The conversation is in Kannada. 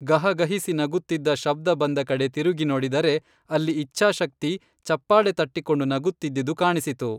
ಗಹಗಹಿಸಿ ನಗುತ್ತಿದ್ದ ಶಬ್ದ ಬಂದ ಕಡೆಗೆ ತಿರುಗಿ ನೋಡಿದರೆ ಅಲ್ಲಿ ಇಚ್ಛಾಶಕ್ತಿ ಚಪ್ಪಾಳೆ ತಟ್ಟಿಕೊಂಡು ನಗುತ್ತಿದ್ದುದು ಕಾಣಿಸಿತು.